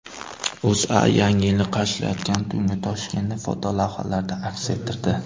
O‘zA Yangi yilni qarshilayotgan tungi Toshkentni fotolavhalarda aks ettirdi .